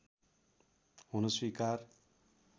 हुन स्वीकार